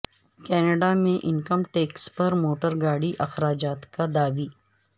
Canada میں income tax پر motor گاڑی اخراجات کا دعوی